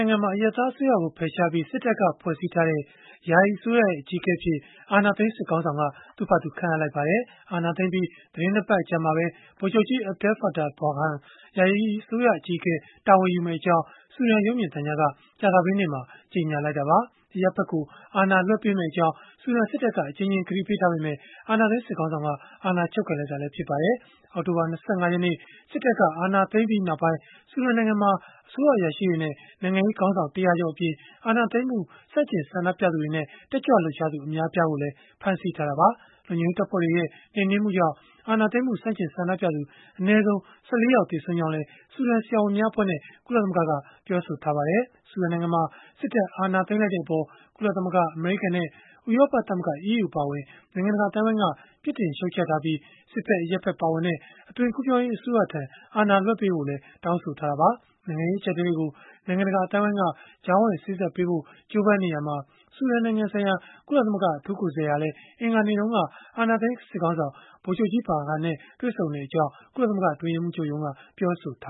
ိုင်ငံမှာ အရပ်သားအစိုးရကို ဖယ်ရှားပြီး စစ်တပ်က ဖွဲ့စည်းထားတဲ့ ယာယီအစိုးရရဲ့ အကြီးအကဲအဖြစ် အာဏာသိမ်း စစ်ခေါင်းဆောင်က သူ့ဖာသာ ခန့်အပ်လိုက်ပါတယ်။ အာဏာသိမ်းပြီး သီတင်း ၂ ပတ်အကြာမှာပဲ ဗိုလ်ချုပ်ကြီး Abdel-Fattah Burhan ယာယီအစိုးရ အကြီးအကဲ တာဝန်ယူမယ့်အကြောင်း ဆူဒန်ရုပ်မြင်သံကြားက ကြာသပတေးနေ့မှာ ကြေညာလိုက်တာပါ။ အရပ်ဖက်ကို အာဏာလွှဲပေးမယ့်အကြောင်း ဆူဒန်စစ်တပ်က အကြိမ်ကြိမ် ကတိပြုထားပေမဲ့လည်း အာဏာသိမ်း စစ်ခေါင်းဆောင်က အာဏာချုပ်ကိုင်လိုက်တာ ဖြစ်ပါတယ်။ အောက်တိုဘာ ၂၅ ရက်နေ့ စစ်တပ်က အာဏာသိမ်းပြီးနောက်ပိုင်း ဆူဒန်နိုင်ငံမှာ အစိုးရအရာရှိတွေနဲ့ နိုင်ငံရေးခေါင်းဆောင် ၁၀၀ ကျော်အပြင် အာဏာသိမ်းမှု ဆန့်ကျင် ဆန္ဒပြသူတွေနဲ့ တက်ကြွလှုပ်ရှားသူ အများအပြားကိုလည်း ဖမ်းဆီးထားတာပါ။ လုံခြုံရေးတပ်ဖွဲ့တွေရဲ့ နှိမ်နင်းမှုကြောင့် အာဏာသိမ်းမှု ဆန့်ကျင်ဆန္ဒပြသူ အနည်းဆုံး ၁၄ ယောက် သေဆုံးကြောင်းလည်း ဆူဒန်ဆရာဝန်များအဖွဲ့နဲ့ ကုလသမဂ္ဂက ပြောပါတယ်။ ဆူဒန်နိုင်ငံမှာ စစ်တပ်က အာဏာသိမ်းလိုက်တဲ့အပေါ် ကုလသမဂ္ဂ၊ အမေရိကန်နဲ့ ဥရောပသမဂ္ဂ (EU) အပါအဝင် နိုင်ငံတကာ အသိုင်းအဝန်းက ပြစ်တင်ရှုတ်ချထားပြီး၊ စစ်ဖက်၊ အရပ်ဖက် ပါဝင်တဲ့ အသွင်ကူးပြောင်းရေး အစိုးရထံ အာဏာလွဲှပြောင်းပေးဖို့လည်း တောင်းဆိုထားကြတာပါ။ နိုင်ငံရေး အကျပ်အတည်းတွေကို နိုင်ငံတကာ အသိုင်းအဝန်းက ကြားဝင်စေ့စပ်ပေးဖို့ ကြိုးပမ်းနေရာမှာ ဆူဒန်နိုင်ငံဆိုင်ရာ ကုလသမဂ္ဂ အထူးကိုယ်စားလှယ် Volker Perthes ဟာလည်း အင်္ဂါနေ့တုန်းက အာဏာသိမ်းစစ်ခေါင်းဆောင် ဗိုလ်ချုပ်ကြီး Burhan နဲ့ တွေ့ဆုံခဲ့ကြောင်း ကုလသမဂ္ဂ အတွင်းရေးမှူးချုပ်ရုံးက ပြောဆိုထ